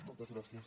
moltes gràcies